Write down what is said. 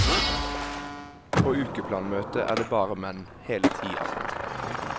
På ukeplanmøtet er det bare menn, hele ti av dem.